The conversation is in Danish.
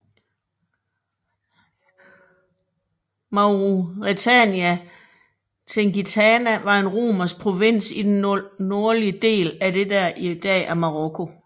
Mauretania Tingitana var en romersk provins i den nordlige del af det der i dag er Marokko